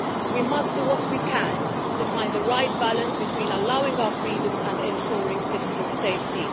We must do what we can to find the right balance between allowing our freedoms and ensuring citizens' safety.